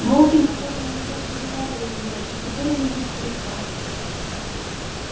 волки наверно уже переварили его и теперь он у них в кишках